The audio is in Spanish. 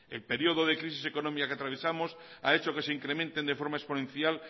el periodo de crisis económica que atravesamos ha hecho que se incrementen de forma exponencial